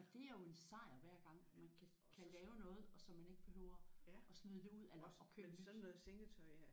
OG det er jo en sejr hver gang man kan kan lave noget og så man ikke behøver at smide ud eller at købe nyt